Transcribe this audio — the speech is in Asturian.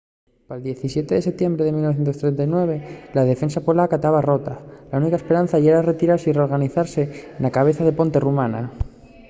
pal 17 de setiembre de 1939 la defensa polaca taba rota la única esperanza yera retirase y reorganizase na cabeza de ponte rumana